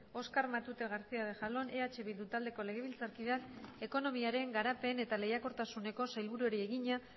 oskar matute garcía de jalón eh bildu taldeko legebiltzarkideak ekonomiaren garapen eta lehiakortasuneko sailburuari egina